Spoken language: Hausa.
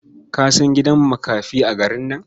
Ka san gidan makafi a garin nan?